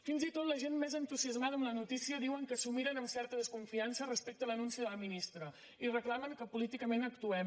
fins i tot la gent més entusiasmada amb la notícia diuen que s’ho miren amb certa desconfiança respecte a l’anunci de la ministra i reclamen que políticament actuem